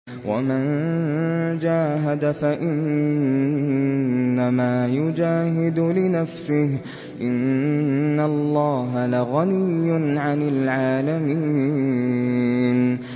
وَمَن جَاهَدَ فَإِنَّمَا يُجَاهِدُ لِنَفْسِهِ ۚ إِنَّ اللَّهَ لَغَنِيٌّ عَنِ الْعَالَمِينَ